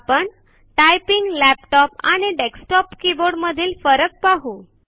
आपण typing laptop आणि desktop keyboard मधील फरक पाहु